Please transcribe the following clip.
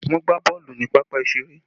Wọn gbá boolu ni pápá ìṣeré